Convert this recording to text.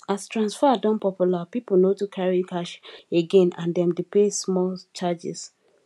as transfer don popular people no too carry cash again and dem dey pay small charges